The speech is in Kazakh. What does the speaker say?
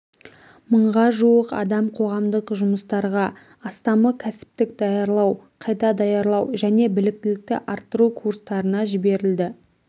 мыңға жуық адам қоғамдық жұмыстарға астамы кәсіптік даярлау қайта даярлау және біліктілікті арттыру курстарына жіберілді